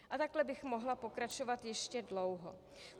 A takhle bych mohla pokračovat ještě dlouho.